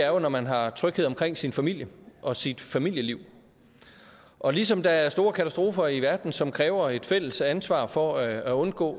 jo når man har tryghed omkring sin familie og sit familieliv og ligesom der er store katastrofer i verden som kræver et fælles ansvar for at undgå